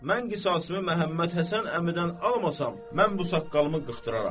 Mən qisasımı Məhəmməd Həsən əmidən almasam, mən bu saqqalımı qırxdıraram.